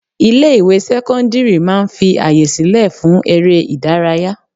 Ilé ìwé sẹ́cọ́ndírì máà ń fi àyè sílẹ̀ fún eré ìdárayá.